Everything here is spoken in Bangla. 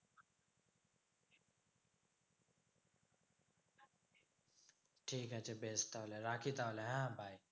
ঠিক আছে বেশ তাহলে রাখি তাহলে হ্যাঁ? bye.